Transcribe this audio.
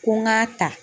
Ko n k'a ta